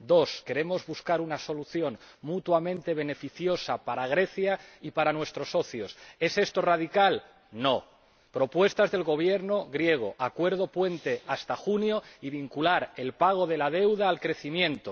dos, queremos buscar una solución, mutuamente beneficiosa para Grecia y para nuestros socios. ¿Es esto radical? No. Propuestas del Gobierno griego acuerdo puente hasta junio y vincular el pago de la deuda al crecimiento.